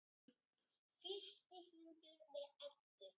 Fyrsti fundur við Eddu.